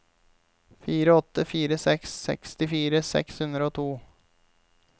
fire åtte fire seks sekstifire seks hundre og to